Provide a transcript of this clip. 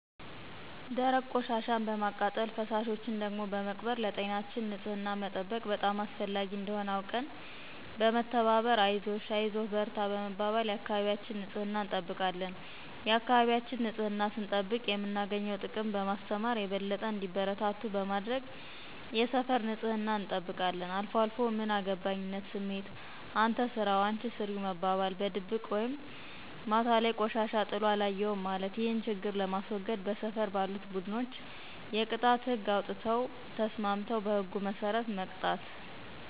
ደረቅ ቆሻሻን በማቃጠል ፈሳሾችን ደግሞ በመቅበር ለጤናችን ንፅህናን መጠበቅ በጣም አስፈላጊ እንደሆነ አውቀን በመተባበር አይዞሽ አይዞህ በርታ በመባባል የአካባቢያችን ንፅህና እንጠብቃለን የአካባቢያችን ንፅህናን ስንጠብቅ የምናገኘውን ጥቅም በማስተማር የበለጠ እንዲበረታቱ በማድረግ የሰፈር ንፅህናን እንጠብቃለን። አልፏልፎ ምን አገባይነት ስሜት፣ አንተ ስራው አንች ስሪው መባባል፣ በድብቅ ወይም ማታ ላይ ቆሻሻ ጥሎ አለየሁም ማለት። ይህን ችግር ለማስዎገድ በሰፈር ባሉት ቡድኖች የቅጣት ህግ አውጥተው ተስማምተው በህጉ መስረት መቅጣት።